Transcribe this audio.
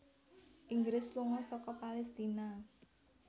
Inggris lunga saka Palestina